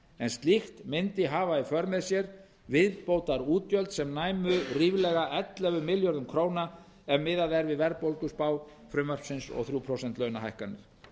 en slíkt myndi hafa í för með sér viðbótarútgjöld sem næmu ríflega ellefu milljörðum króna ef miðað er við verðbólguspá frumvarpsins og þrjú prósent launahækkanir